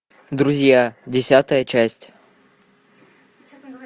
друзья десятая часть